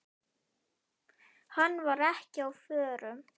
Hann var ekki á förum.